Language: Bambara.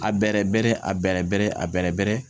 A bɛrɛ bɛrɛ a bɛrɛ bɛrɛ a bɛrɛ bɛrɛ